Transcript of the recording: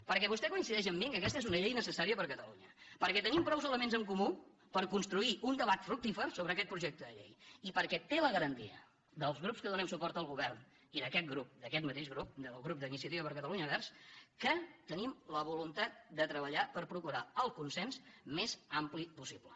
perquè vostè coincideix amb mi que aquesta és una llei necessària per a catalunya perquè tenim prou elements en comú per construir un debat fructífer sobre aquest projecte de llei i perquè té la garantia dels grups que donem suport al govern i d’aquest grup d’aquest mateix grup del grup d’iniciativa per catalunya verds que tenim la voluntat de treballar per procurar el consens més ampli possible